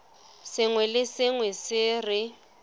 sengwe le sengwe se re